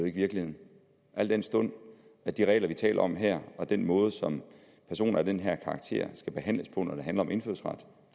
ikke virkeligheden al den stund de regler vi taler om her og den måde som personer af den her karakter skal behandles på når det handler om indfødsret